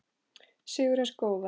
Sigur hins góða.